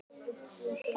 að búa.